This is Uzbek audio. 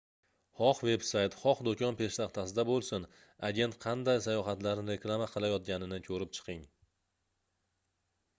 xoh veb-sayt xoh doʻkon peshtaxtasida boʻlsin agent qanday sayohatlarni reklama qilayotganini koʻrib chiqing